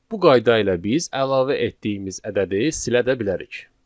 Bu qayda ilə biz əlavə etdiyimiz ədədi silə də bilərik.